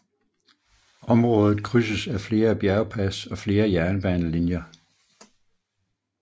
Området krydses af flere bjergpas og flere jernbanelinjer